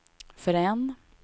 förrän